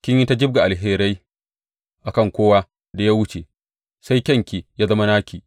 Kin yi ta jibga alherai a kan kowa da ya wuce, sai kyanki ya zama naki.